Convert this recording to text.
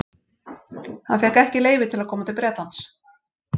Hann fékk ekki leyfi til að koma til Bretlands.